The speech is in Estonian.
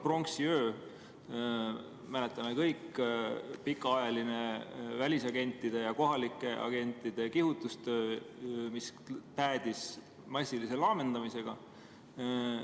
Pronksiöö, mäletame seda kõik – pikaajaline välisagentide ja kohalike agentide kihutustöö, mis päädis massilise laamendamisega.